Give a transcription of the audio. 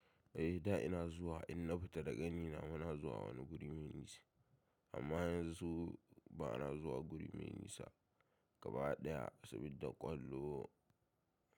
Eh da ina zuwa in na fita da ƙanina muna zuwa wani guri mai nisa amma yanzu ba na zuwa guri mai nisa gaba ɗaya saboda ƙwallo.